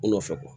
U nɔfɛ